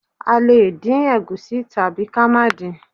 A lè dín ègúsí tàbí ka máà din